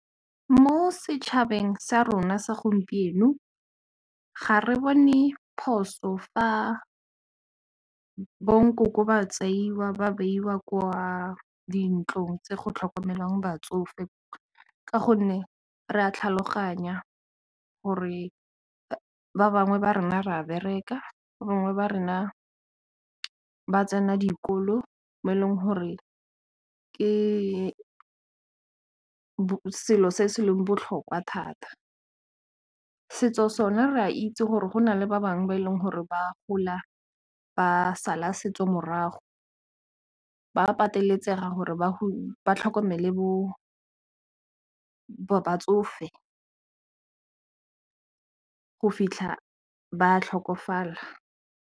Mo setšhabeng sa rona sa gompieno ga re bone phoso fa bo nkoko ba tseiwa ba beiwa kwa dintlong tse go tlhokomelwang batsofe ka gonne re a tlhaloganya gore ba bangwe ba rona re a bereka, ba bangwe ba rona ba tsena dikolo mo e leng gore ke selo se se leng botlhokwa thata setso sa rona re a itse gore go na le ba bangwe ba e leng gore ba gola ba sala setso morago ba pateletsega gore ba tlhokomele batsofe go fitlha ba tlhokofala.